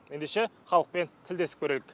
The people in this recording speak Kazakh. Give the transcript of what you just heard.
ендеше халықпен тілдесіп көрейік